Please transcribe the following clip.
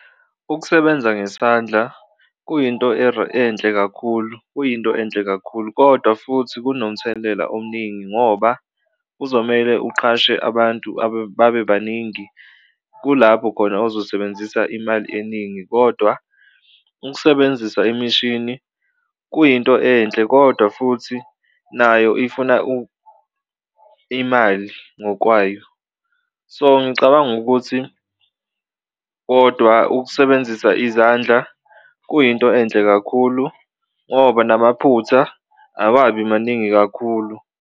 Ukusebenza ngesandla kuyinto enhle kakhulu, kuyinto enhle kakhulu kodwa futhi kunomthelela omningi ngoba kuzomele uqashe abantu babe baningi, kulapho khona ozosebenzisa imali eningi kodwa ukusebenzisa imishini kuyinto enhle kodwa futhi nayo ifuna imali ngokwayo. So, ngicabanga ukuthi kodwa ukusebenzisa izandla kuyinto enhle kakhulu ngoba namaphutha awabi maningi kakhulu.